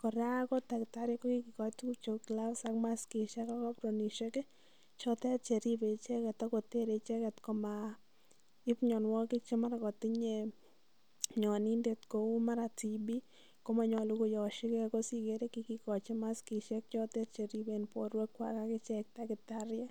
Kora ko daktari ko kigikosich tuguk cheu gloves ak maskiishek ak apronisiiek chotete che ripe icheget ago tere icheget komaib mianwogik che mara kotinye mianindet, kou mara TB komonyolu ko yoshi ge. Ko sikere kigikochi maskishek cheriben borwekwak ak ichek tagitariek .